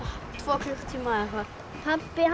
tvo klukkutíma eða eitthvað pabbi